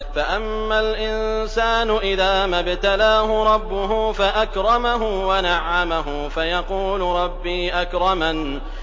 فَأَمَّا الْإِنسَانُ إِذَا مَا ابْتَلَاهُ رَبُّهُ فَأَكْرَمَهُ وَنَعَّمَهُ فَيَقُولُ رَبِّي أَكْرَمَنِ